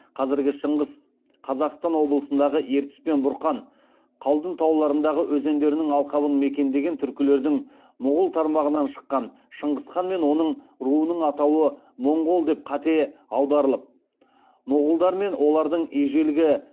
қазіргі шынғыс қазақстан облысындағы ертіс пен бұрқан қалдұн тауларындағы өзендерінің алқабын мекендеген түркілердің мұғул тармағынан шыққан шыңғыс хан мен оның руының атауы моңғол деп қате аударылып мұғулдар мен олардың ежелгі